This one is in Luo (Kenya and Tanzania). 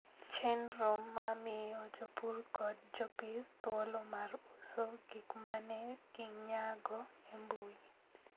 Chenro ma miyo jopur kod jopith thuolo mar uso gik ma ne ginyago e mbui.